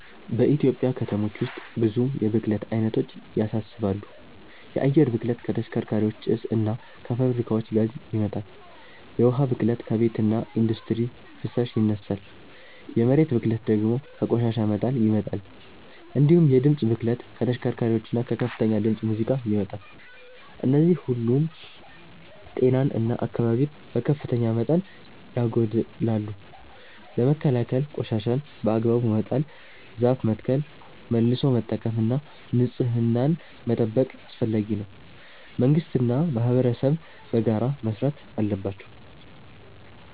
በኢትዮጵያ ከተሞች ውስጥ ብዙ የብክለት አይነቶች ያሳስባሉ። የአየር ብክለት ከተሽከርካሪዎች ጭስ እና ከፋብሪካዎች ጋዝ ይመጣል፤ የውሃ ብክለት ከቤትና ኢንዱስትሪ ፍሳሽ ይነሳል፤ የመሬት ብክለት ደግሞ ከቆሻሻ መጣል ይመጣል። እንዲሁም የድምፅ ብክለት ከተሽከርካሪዎችና ከከፍተኛ ድምፅ ሙዚቃ ይመጣል። እነዚህ ሁሉ ጤናን እና አካባቢን በከፍተኛ መጠን ያጎድላሉ። ለመከላከል ቆሻሻን በአግባቡ መጣል፣ ዛፍ መትከል፣ መልሶ መጠቀም እና ንጽህናን መጠበቅ አስፈላጊ ነው፤ መንግስትና ማህበረሰብም በጋራ መስራት አለባቸው።